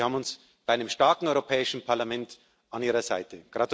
Sie haben uns bei einem starken Europäischen Parlament an Ihrer Seite.